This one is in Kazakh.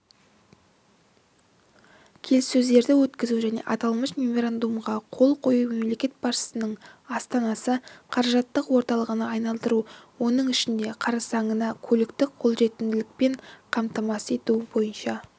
келіссөздерді өткізу және аталмыш меморандумға қол қою мемлекет басшысының астананы қаражаттық орталығына айналдыру оның ішінде қарсаңында көліктік қолжетімділікпен қамтамасыз ету бойынша